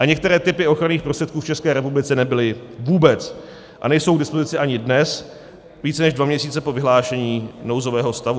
A některé typy ochranných prostředků v České republice nebyly vůbec a nejsou k dispozici ani dnes, více než dva měsíce po vyhlášení nouzového stavu.